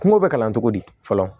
Kungo bɛ kalan cogo di fɔlɔ